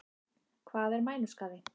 Hvað er mænuskaði?